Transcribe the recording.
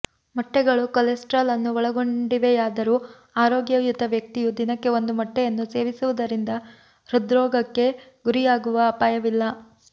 ಮೊಟ್ಟೆಗಳು ಕೊಲೆಸ್ಟ್ರಾಲ್ ಅನ್ನು ಒಳಗೊಂಡಿವೆಯಾದರೂ ಆರೋಗ್ಯಯುತ ವ್ಯಕ್ತಿಯು ದಿನಕ್ಕೆ ಒಂದು ಮೊಟ್ಟೆಯನ್ನು ಸೇವಿಸುವುದರಿಂದ ಹೃದ್ರೋಗಕ್ಕೆ ಗುರಿಯಾಗುವ ಅಪಾಯವಿಲ್ಲ